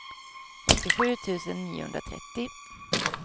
åttiosju tusen niohundratrettio